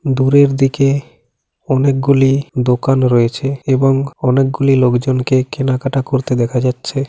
দূরের দিকে অনেকগুলি দোকান রয়েছে এবং অনেকগুলি লোকজনকে কেনাকাটা করতে দেখা যাচ্ছে ।